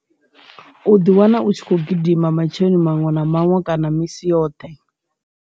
U ḓi wana u tshi khou gidima matsheloni maṅwe na maṅwe kana misi yoṱhe.